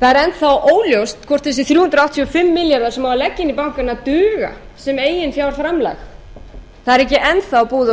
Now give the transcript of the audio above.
það er enn þá óljóst hvort þessir þrjú hundruð áttatíu og fimm milljarðar sem á að leggja inn í bankana duga sem eiginfjárframlag það er ekki enn þá búið að